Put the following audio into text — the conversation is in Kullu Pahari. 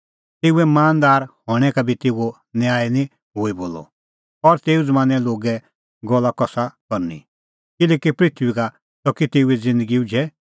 तेऊए मानदार हणैं का बी तेऊओ न्याय निं हई बोलअ और तेऊ ज़मानें लोगे गल्ला कसा करनी किल्हैकि पृथूई का च़की तेऊए ज़िन्दगी उझै